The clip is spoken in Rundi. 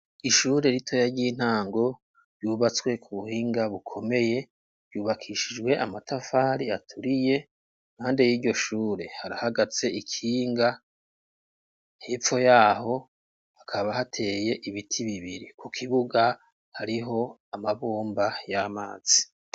Ishure ritoya ry'intango ryubatswe ku buhinga bukomeye ryubakishijwe amatafari aturiye nkande y'iryo shure harahagatse ikinga hepfo yaho hakaba hateye ibiti bibiri ku kibuga hariho amabomba y'amazi.